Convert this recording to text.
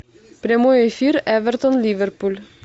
прямой эфир эвертон ливерпуль